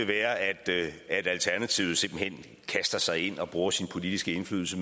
være at alternativet simpelt hen kaster sig ind og bruger sin politiske indflydelse